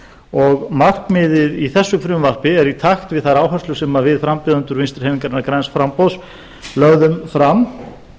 og markmiðið í þessu frumvarpi er í takt við þær áherslur sem við frambjóðendur vinstri hreyfingarinnar græns framboðs lögðum fram